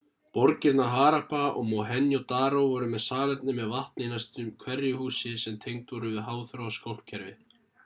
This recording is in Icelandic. borgirnar harappa og mohenjo-daro voru með salerni með vatni í næstum hverju húsi sem tengd voru við háþróað skólpkerfi